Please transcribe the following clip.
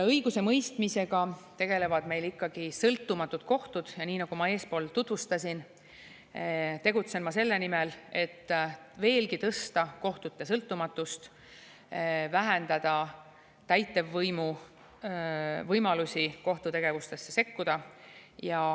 Õigusemõistmisega tegelevad meil ikkagi sõltumatud kohtud ja nagu ma eespool tutvustasin, tegutsen ma selle nimel, et veelgi tõsta kohtute sõltumatust, vähendada täitevvõimu võimalusi kohtutegevustesse sekkuda.